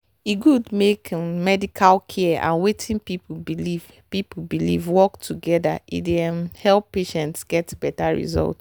e good make um medical care and wetin people believe people believe work together e dey um help patients get better result.